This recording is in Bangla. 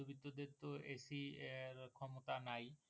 বিদ্যুতের তো AC এর ক্ষমতা নাই